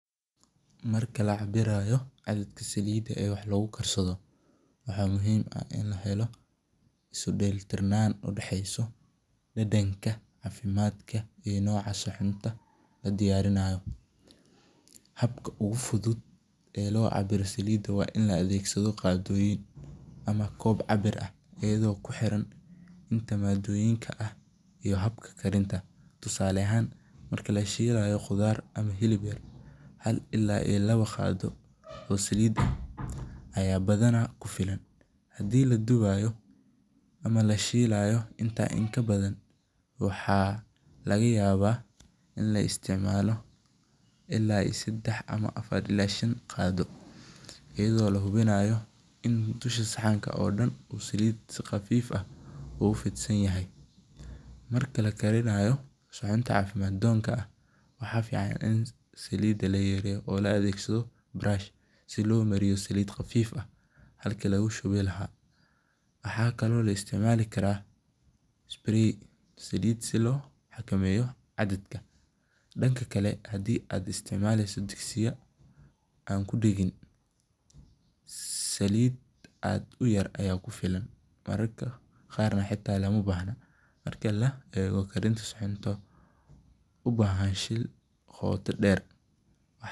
Marka lacabirayo cabirka salida ee wah lagukarsado waxa muxiim ah 8n lahelo, iskudela tirnan udaheyso dadanka, cafimadka iyo nocaa cunta ladiyarinayo, habka ogufudud ee locabiro salida wain laadegsado qadoyin ama koob cabiirah iyado kuhiran inta madoyinka ah iyo habka qeybinta, tusale ahan marka lashilayo qudar ama hilib yarhal ila iyo lawo qado oo salid ah aya badana kufilan, hadhii laduwayo ama lashilayo inta in kabadan waxa lagayaba in laisticmalo ila iyo sadah ila afar ila iyo shaan qado, iyado lahubinayo in dusha sahanka oo daan uu salid si qafif ah ogugudsanyahay, marka lakarinayo cunta cafimadonka ah waxa fivan i salida layareyo, oo laadegsado brush si lomaruyo salid qafiif ah, halki lagushubi lahaa, waxakalo laisticmalikara spray salit si lohakameyo cadadka, dankakale hadhi aad isticmaleyso digsiya an kudagen saliit aad u yar aya kufiilan, markarka gaar hata lomabahno, marka laego karinta cunto ubahan shiil goota deer.